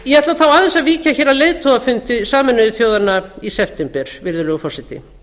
ég ætla aðeins að víkja hér að leiðtogafundi sameinuðu þjóðanna í september virðulegur forseti